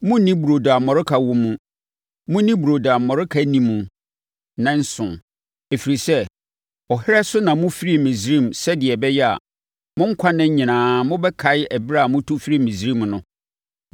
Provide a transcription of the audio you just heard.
Monnni burodo a mmɔreka wɔ mu; monni burodo a mmɔreka nni mu nnanson, ɛfiri sɛ, ɔherɛ so na mofirii Misraim sɛdeɛ ɛbɛyɛ a, mo nkwa nna nyinaa mobɛkae ɛberɛ a motu firii Misraim no.